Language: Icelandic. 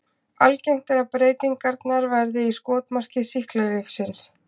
Algengt er að breytingarnar verði í skotmarki sýklalyfsins.